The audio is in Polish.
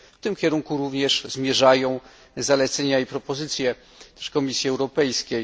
W tym kierunku również zmierzają zalecenia i propozycje Komisji Europejskiej.